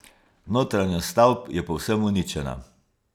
Notranjost stavb je povsem uničena.